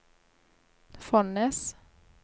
Fonnes